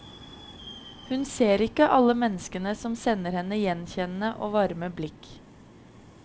Hun ser ikke alle menneskene som sender henne gjenkjennende og varme blikk.